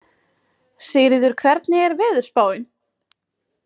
Sigríður, hvernig er veðurspáin?